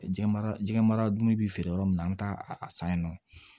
Jɛnmara jɛgɛ mara dunni bi feere yɔrɔ min na an bɛ taa a san yen nɔ